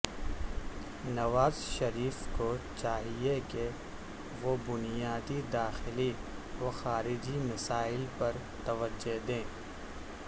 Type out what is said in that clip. نواز شریف کو چاہیے کہ وہ بنیادی داخلی و خارجی مسائل پر توجہ دیں